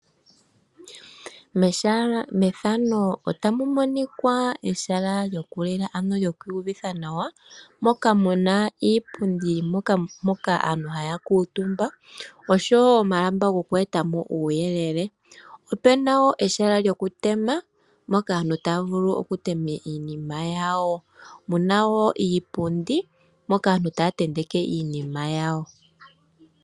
Ehala lyokulila, ano ehala lyoku iyuvitha nawa moka mu na iipundi mpoka aantu haya kuutumba, oshowo omalamba goku eta mo uuyelele. Opu na wo ehala lyokutema, mpoka aantu taya vulu okutema iinima yawo. Mu na wo iipundi, mpoka aantu taya tenteke iinima yawo.